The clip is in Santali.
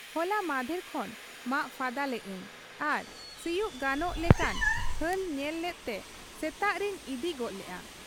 ᱦᱚᱞᱟ ᱢᱟᱸᱦᱫᱮᱨ ᱠᱷᱚᱱ ᱢᱟᱜ ᱯᱷᱟᱫᱟ ᱞᱮᱜ ᱟᱹᱧ ᱟᱨ ᱥᱤᱭᱩᱜ ᱜᱟᱱᱚᱜ ᱞᱮᱠᱟᱱ ᱦᱟᱞ ᱧᱮᱞ ᱞᱮᱫᱛᱮ ᱥᱮᱛᱟᱜ ᱨᱤᱧ ᱤᱫᱤ ᱜᱚᱫ ᱞᱮᱜ ᱟ ᱾